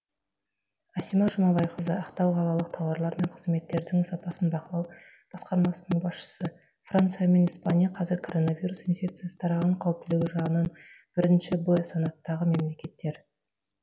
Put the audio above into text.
асима жұмабайқызы ақтау қалалық тауарлар мен қызметтердің сапасын бақылау басқармасының басшысы франция мен испания қазір коронавирус инфекциясы тараған қауіптілігі жағынан бірінші б санаттағы мемлекеттер